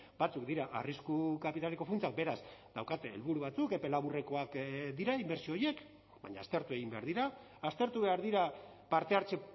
batzuk dira arrisku kapitaleko funtsak beraz daukate helburu batzuk epe laburrekoak dira inbertsio horiek baina aztertu egin behar dira aztertu behar dira parte hartze